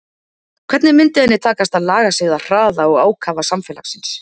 Hvernig myndi henni takast að laga sig að hraða og ákafa samfélagsins?